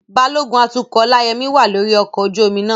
Balógun atukọ̀ Olayemi wà lórí ọkọ̀ ojú omi náà.